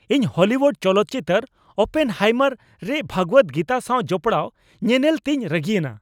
ᱤᱧ ᱦᱚᱞᱤᱣᱩᱰ ᱪᱚᱞᱚᱛ ᱪᱤᱛᱟᱹᱨ "ᱳᱯᱮᱱᱦᱟᱭᱢᱟᱨ" ᱨᱮ ᱵᱷᱟᱜᱽᱵᱟᱫ ᱜᱤᱛᱟ ᱥᱟᱣ ᱡᱚᱯᱲᱟᱣ ᱧᱮᱱᱮᱞ ᱛᱮᱧ ᱨᱟᱹᱜᱤᱭᱮᱱᱟ ᱾